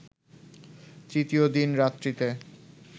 তৃতীয় দিন রাত্রিতে